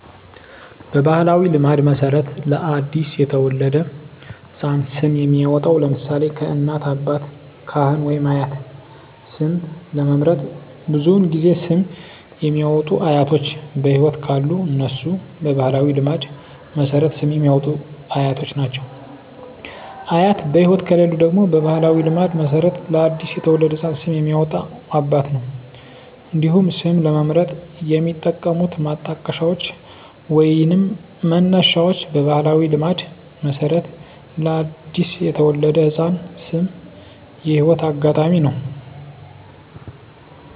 በባሕላዊ ልማድ መሠረት ለ አዲስ የተወለደ ሕፃን ስም የሚያወጣዉ (ለምሳሌ: ከእናት፣ አባት፣ ካህን ወይም አያት) ስም ለመምረጥ ብዙውን ጊዜ ስም የሚያወጡት አያቶች በህይወት ካሉ እነሱ በባህላዊ ልማድ መሠረት ስም የሚያወጡት አያቶች ናቸው። አያት በህይወት ከሌሉ ደግሞ በባህላዊ ልማድ መሠረት ለአዲስ የተወለደ ህፃን ስም የሚያወጣው አባት ነው። እንዲሁም ስም ለመምረጥ የሚጠቀሙት ማጣቀሻዎች ወይንም መነሻዎች በባህላዊ ልማድ መሠረት ለአዲስ የተወለደ ህፃን ስም የህይወት አጋጣሚ ነው።